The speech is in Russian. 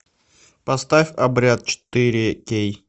поставь обряд четыре кей